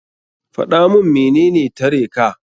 Faɗa mun menene tare ka.